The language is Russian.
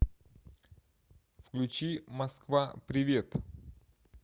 включи москва привет